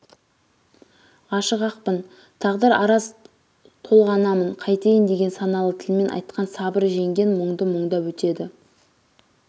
ғашық-ақпын тағдыр араз толғанамын қайтейін деген саналы тілмен айтқан сабыр жеңген мұңды мұңдап өтеді